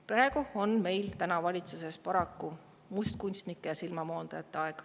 Praegu on meil valitsuses paraku mustkunstnike ja silmamoondajate aeg.